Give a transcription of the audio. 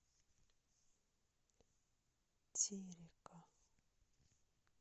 терека